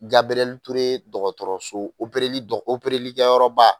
Gabirɛli toure dɔgɔtɔrɔso opereli dɔgɔ obereli kɛyɔrɔba